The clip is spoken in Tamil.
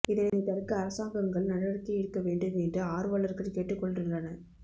இதனை தடுக்க அரசாங்கங்கள் நடவடிக்கை எடுக்க வேண்டும் என்று ஆர்வலர்கள் கேட்டுக் கொண்டுள்ளனர்